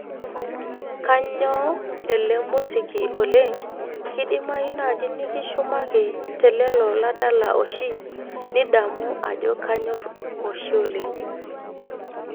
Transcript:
kanyoo ele musiki oleng' kidimayu naaji nikishumaki te lelo ladala oshi nidamu ajo kanyorr oshi oleng